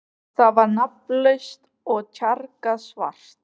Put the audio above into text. Það var nafnlaust og tjargað svart.